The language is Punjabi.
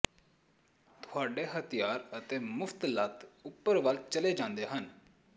ਤੁਹਾਡੇ ਹਥਿਆਰ ਅਤੇ ਮੁਫ਼ਤ ਲੱਤ ਉੱਪਰ ਵੱਲ ਚਲੇ ਜਾਂਦੇ ਹਨ